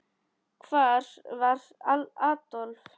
Hvar var Adolf?